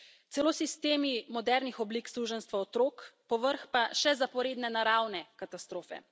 Celo sistemi modernih oblik suženjstva otrok, povrh pa še zaporedne naravne katastrofe.